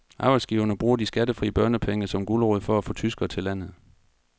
Arbejdsgiverne bruger de skattefri børnepenge som gulerod for at få tyskere til landet.